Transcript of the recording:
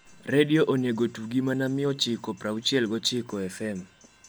redio onego otugi mana mia ochiko praochi gi ochiko fm